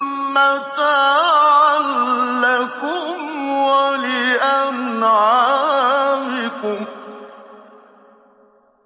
مَّتَاعًا لَّكُمْ وَلِأَنْعَامِكُمْ